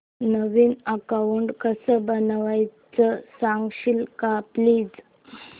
नवीन account कसं बनवायचं सांगशील का प्लीज